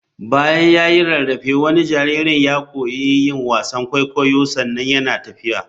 Bayan ya yi rarrafe wani jariri ya koyi yin wasan kwaikwayo sannan yana tafiya.